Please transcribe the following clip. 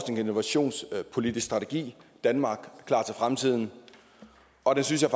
og innovationspolitisk strategi danmark klar til fremtiden og den synes jeg